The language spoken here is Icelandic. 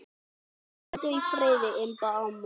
Hvíldu í friði, Imba amma.